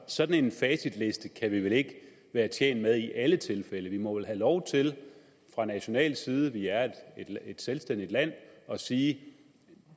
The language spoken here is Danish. sådan en facitliste kan vi vel ikke være tjent med i alle tilfælde vi må vel have lov til fra national side vi er et selvstændigt land at sige at